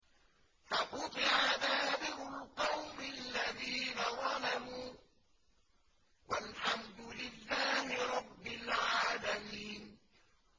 فَقُطِعَ دَابِرُ الْقَوْمِ الَّذِينَ ظَلَمُوا ۚ وَالْحَمْدُ لِلَّهِ رَبِّ الْعَالَمِينَ